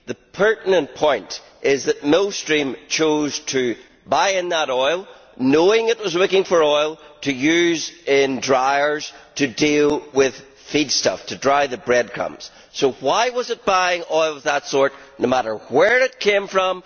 The pertinent point is that Millstream chose to buy in that oil, knowing it was looking for oil to use in dryers to deal with feedstuff, to dry the breadcrumbs so why was it buying oil of that sort, no matter where it came from?